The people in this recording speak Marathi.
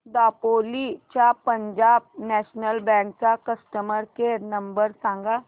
दापोली च्या पंजाब नॅशनल बँक चा कस्टमर केअर नंबर सांग